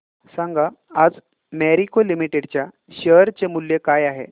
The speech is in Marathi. सांगा आज मॅरिको लिमिटेड च्या शेअर चे मूल्य काय आहे